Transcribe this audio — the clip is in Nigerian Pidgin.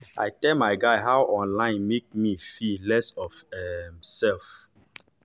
i tell my guy how online make me feel less of my um self